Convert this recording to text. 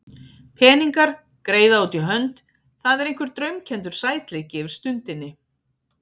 Peningar, greiða út í hönd, það er einhver draumkenndur sætleiki yfir stundinni.